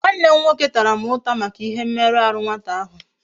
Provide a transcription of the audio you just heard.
Nwannem nwoke Tara m uta Maka ihe mmeru ahu nwata ahu